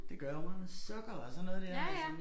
Det gør jeg jo mig sukker og sådan noget dér altså